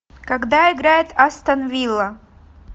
когда играет астон вилла